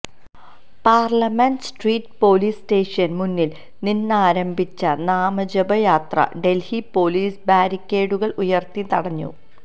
parliament street police station മുന്നില് നിന്നാരംഭിച്ച നാമജപയാത്ര ദല്ഹി പോലീസ് ബാരിക്കേഡുകള് ഉയര്ത്തി തടഞ്ഞു